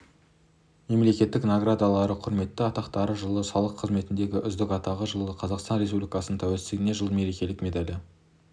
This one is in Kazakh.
мемлекеттік наградалары құрметті атақтары жылы салық қызметінің үздігі атағы жылы қазақстан республикасы тәуелсіздігіне жыл мерекелік медалі